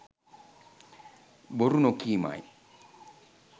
බොරු නොකීමයි.